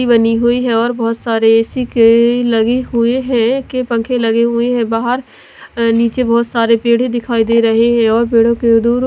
बनी हुई है और बहुत सारे ऐसी के लगे हुए हैं के पंखे लगे हुए हैं बाहर नीचे बहुत सारे पेड़ ही दिखाई दे रहे हैं और पेड़ों के द--